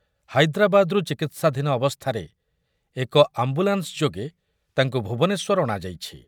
ହାଇଦ୍ରାବାଦରୁ ଚିକିତ୍ସାଧୀନ ଅବସ୍ଥାରେ ଏକ ଆମ୍ବୁଲାନ୍ସ ଯୋଗେ ତାଙ୍କୁ ଭୁବନେଶ୍ୱର ଅଣାଯାଇଛି ।